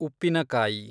ಉಪ್ಪಿನಕಾಯಿ